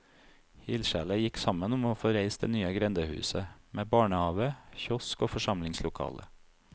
Ildsjeler gikk sammen om å få reist det nye grendehuset, med barnehave, kiosk og forsamlingslokale.